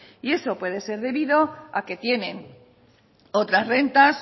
eso puede ser debido a que tienen otras rentas